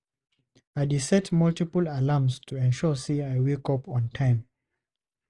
I dey set multiple alarms to ensure say I wake up on time.